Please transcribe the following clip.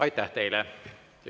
Aitäh teile!